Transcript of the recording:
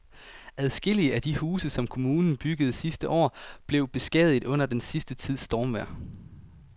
Adskillige af de huse, som kommunen byggede sidste år, er blevet beskadiget under den sidste tids stormvejr.